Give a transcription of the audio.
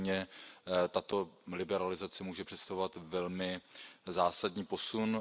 Pro ně tato liberalizace může představovat velmi zásadní posun.